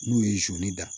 N'u ye zonni da